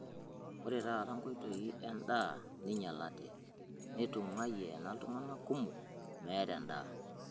Ore taata nkoitoi endaa neinyalate, netung'uayie ena iltung'ana kumok meeta endaa.